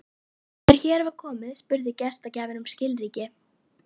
Jakob, búist þið við fleira fólki í kvöld?